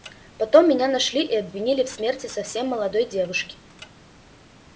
потом меня нашли и обвинили в смерти совсем молодой девушки